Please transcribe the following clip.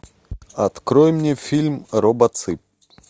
открой мне фильм робоцып